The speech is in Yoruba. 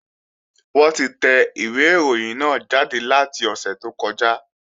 Wọ́n ti tẹ ìwé ìròyìn náà jáde láti ọ̀sẹ̀ tó kọjá